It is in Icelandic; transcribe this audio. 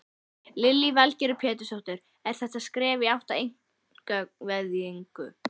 Lillý Valgerður Pétursdóttir: Er þetta skref í átt að einkavæðingu?